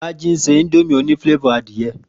Rájí ń ṣe indomie òní flávòr adìẹ